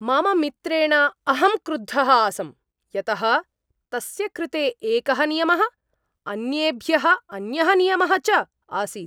मम मित्रेण अहं क्रुद्धः आसं, यतः तस्य कृते एकः नियमः, अन्येभ्यः अन्यः नियमः च आसीत्।